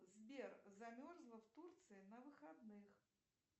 сбер замерзла в турции на выходных